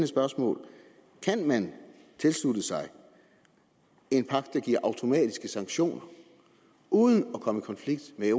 spørgsmål kan man tilslutte sig en pagt der giver automatiske sanktioner uden at komme i konflikt med